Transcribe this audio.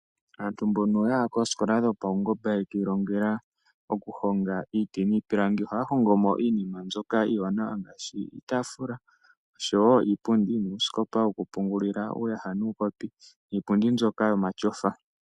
Aantu mbono yaya koosikola dhopaungomba ye kiilongela oku honga iiti niipilangi ohaya hongo mo iinima mbyoka iiwanawa ngaashi: iitaafula oshowo iipundi nuusikopa woku pungulila uuyaha nuukopi niipundi mbyoka yomatyofa.